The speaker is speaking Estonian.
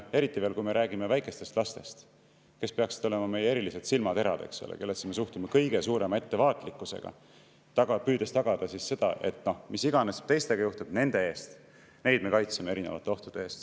Eriti veel, kui me räägime väikestest lastest, kes peaksid olema meie erilised silmaterad, kellesse me suhtume kõige suurema ettevaatlikkusega, püüdes tagada seda, et mis iganes teistega juhtub, neid me kaitseme erinevate ohtude eest.